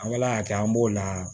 An ka ala y'a kɛ an b'o la